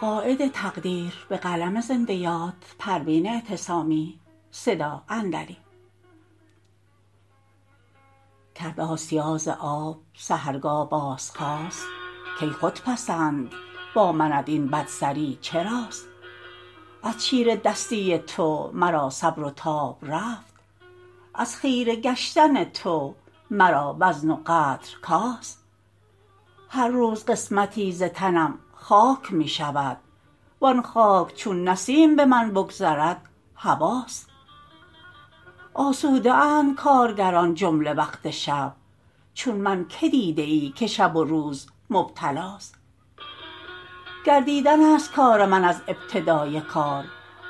کرد آسیا ز آب سحرگاه باز خواست کای خودپسند با منت این بدسری چراست از چیره دستی تو مرا صبر و تاب رفت از خیره گشتن تو مرا وزن و قدر کاست هر روز قسمتی ز تنم خاک میشود وان خاک چون نسیم بمن بگذرد هباست آسوده اند کارگران جمله وقت شب چون من که دیده ای که شب و روز مبتلاست گردیدن است کار من از ابتدای کار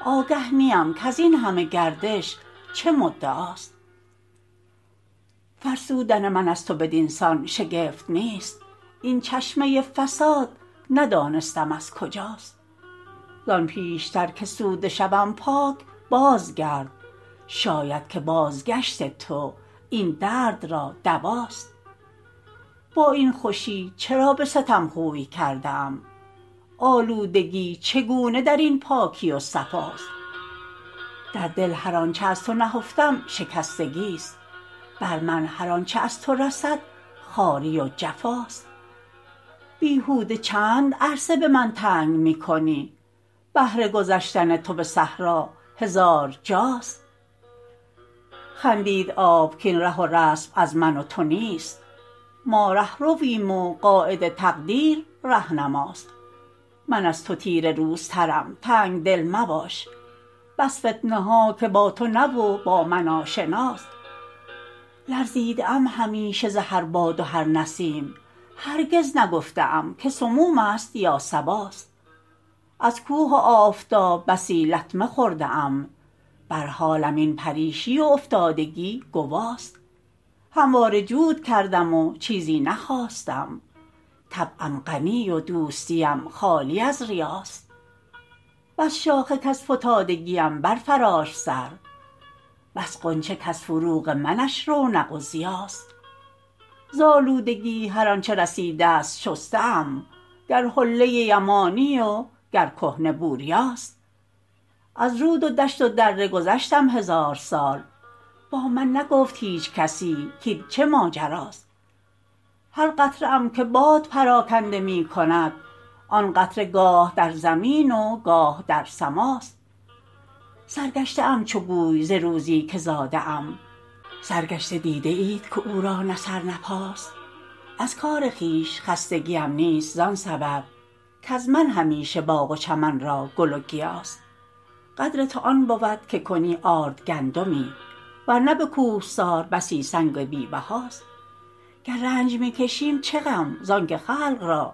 آگه نیم کزین همه گردش چه مدعاست فرسودن من از تو بدینسان شگفت نیست این چشمه فساد ندانستم از کجاست زان پیشتر که سوده شوم پاک باز گرد شاید که بازگشت تو این درد را دواست با این خوشی چرا به ستم خوی کرده ای آلودگی چگونه درین پاکی و صفاست در دل هر آنچه از تو نهفتم شکستگی است بر من هر آنچه از تو رسد خواری و جفاست بیهوده چند عرصه بمن تنگ میکنی بهر گذشتن تو بصحرا هزار جاست خندید آب کین ره و رسم از من و تو نیست ما رهرویم و قاید تقدیر رهنماست من از تو تیره روزترم تنگدل مباش بس فتنه ها که با تو نه و با من آشناست لرزیده ام همیشه ز هر باد و هر نسیم هرگز نگفته ام که سموم است یا صباست از کوه و آفتاب بسی لطمه خورده ام بر حالم این پریشی و افتادگی گواست همواره جود کردم و چیزی نخواستم طبعم غنی و دوستیم خالی از ریاست بس شاخه کز فتادگیم بر فراشت سر بس غنچه کز فروغ منش رونق و ضیاست ز الودگی هر آنچه رسیدست شسته ام گر حله یمانی و گر کهنه بوریاست از رود و دشت و دره گذشتیم هزار سال با من نگفت هیچکسی کاین چه ماجراست هر قطره ام که باد پراکنده میکند آن قطره گاه در زمی و گاه در سماست سر گشته ام چو گوی ز روزی که زاده ام سرگشته دیده اید که او را نه سر نه پاست از کار خویش خستگیم نیست زان سبب کاز من همیشه باغ و چمن را گل و گیاست قدر تو آن بود که کنی آرد گندمی ور نه بکوهسار بسی سنگ بی بهاست گر رنج میکشیم چه غم زانکه خلق را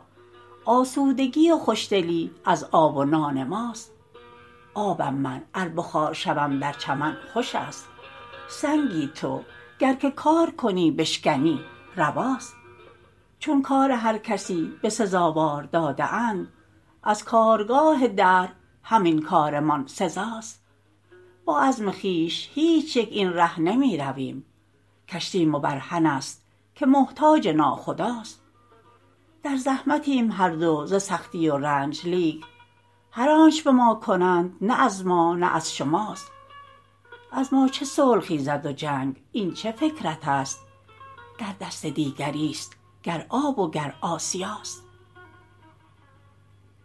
آسودگی و خوشدلی از آب و نان ماست آبم من ار بخار شوم در چمن خوش است سنگی تو گر که کار کنی بشکنی رواست چون کار هر کسی به سزاوار داده اند از کارگاه دهر همین کارمان سزاست با عزم خویش هیچیک این ره نمیرویم کشتی مبرهن است که محتاج ناخداست در زحمتیم هر دو ز سختی و رنج لیک هر چ آن بما کنند نه از ما نه از شماست از ما چه صلح خیزد و جنگ این چه فکر تست در دست دیگریست گر آ ب و گر آسیاست